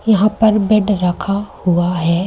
यहां पर बेड रखा हुआ है।